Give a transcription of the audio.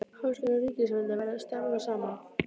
Háskólinn og ríkisvaldið verða að starfa saman.